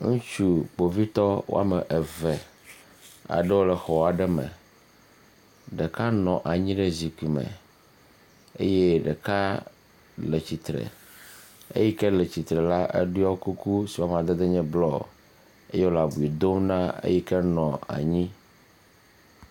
Ŋutsu kpovitɔ woame eve aɖewo le xɔ aɖe me ɖeka nɔ anyi ɖe zikpui me eye ɖeka le tsitre eyi ke le tsitre la ɖɔ kuku yi ke le blɔ eye wole abi dom na ame yi ke nɔ anyi.